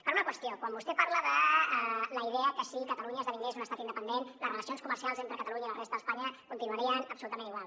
per una qüestió quan vostè parla de la idea que si catalunya esdevingués un estat independent les relacions comercials entre catalunya i la resta d’espanya continuarien absolutament igual